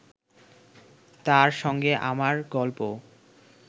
তার সঙ্গে আমার গল্প